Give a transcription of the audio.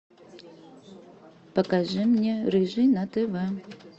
покажи мне рыжий на тв